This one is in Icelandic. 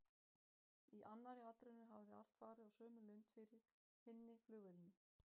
Í annarri atrennu hafði allt farið á sömu lund fyrir hinni flugvélinni.